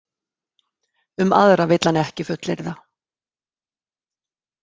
Um aðra vill hann ekki fullyrða.